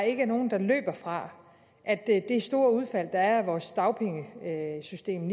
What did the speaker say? ikke er nogen der løber fra at det store udfald der er af vores dagpengesystem